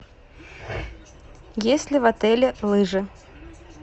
есть ли в отеле лыжи